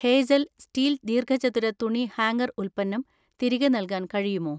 Hazel steel ദീർഘചതുര തുണി hanger ഉൽപ്പന്നം തിരികെ നൽകാൻ കഴിയുമോ?